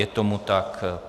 Je tomu tak.